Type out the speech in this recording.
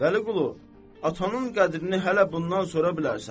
Vəliqulu, atanın qədrini hələ bundan sonra bilərsən.